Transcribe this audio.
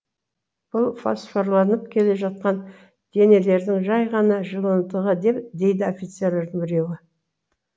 бұл фосфорланып келе жатқан денелердің жай ғана жиынтығы дейді офицерлердің біреуі